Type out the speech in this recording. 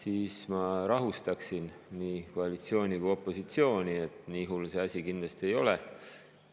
Aga ma rahustaksin nii koalitsiooni kui ka opositsiooni, et nii hull see asi kindlasti ei ole.